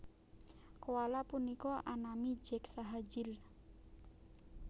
Koala punika anami Jack saha Jill